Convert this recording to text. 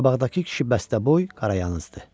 Qabaqdakı kişi bəstəboy, qarayazdı.